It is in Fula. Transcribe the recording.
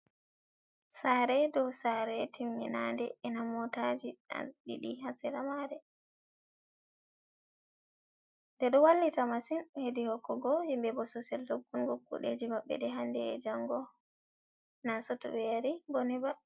sare dow sare timminande ena motaji an didi hasera mare. Ɗe do wallita masin hedi hokkugo himbe bososial doggungo kudeji maɓɓe ɗe hande e jango nasoto ɓe yari boni ba.